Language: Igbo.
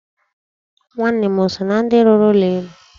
Nwanne m o so na ndị rụrụ ụlọ elu?